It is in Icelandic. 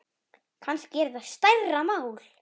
Kannski er þetta stærra mál.